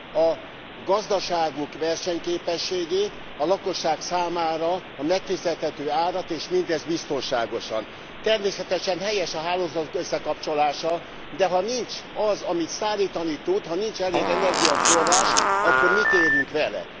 a gazdaságuk versenyképességét, a lakosság számára a megfizethető árat és mindezt biztonságosan. Természetesen helyes a hálózatok összekapcsolása, de ha nincs az, amit szállítani tud, ha nincs elég energiaforrás, akkor mit érünk vele?